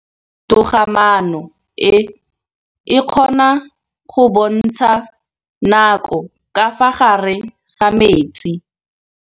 Toga-maanô e, e kgona go bontsha nakô ka fa gare ga metsi.